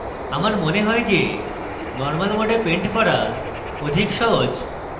আমার mode হয় যে normal mode paint করা অধিক সহজ